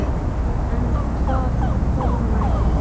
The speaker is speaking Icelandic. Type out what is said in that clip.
En hvað kom næst?